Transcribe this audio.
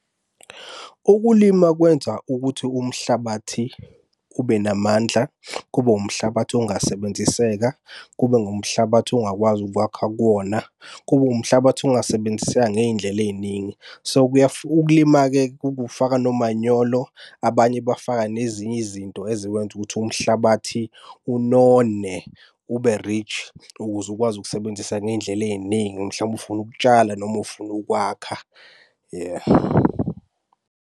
Ukulima kwenza ukuthi umhlabathi ube namandla, kube umhlabathi ongasebenziseka. Kube ngumhlabathi ongakwazi ukwakha kuwona. Kube umhlabathi ongasebenziseka ngey'ndlela ey'ningi. So, kuya ukulima-ke kufaka nomanyolo, abanye bafaka nezinye izinto ezikwenza ukuthi umhlabathi unone ube-rich ukuze ukwazi ukusebenzisa ngey'ndlela ey'ningi, mhlampe ufuna ukutshala noma ufuna ukwakha.